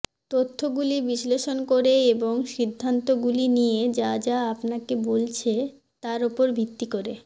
তথ্যগুলি বিশ্লেষণ করে এবং সিদ্ধান্তগুলি নিয়ে যা যা আপনাকে বলছে তার উপর ভিত্তি করে